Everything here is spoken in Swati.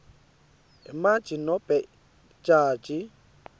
imantji nobe lijaji